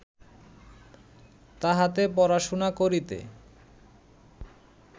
তাহাতে পড়াশুনা করিতে